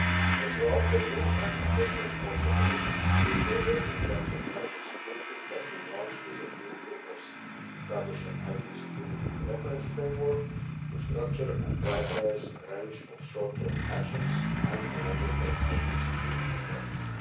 A thorough review and assessment of the Commission's exposure in terms of IT security has been launched with a view to establishing an IT security reference framework to structure and prioritise a range of short term actions and a longer term IT security strategy.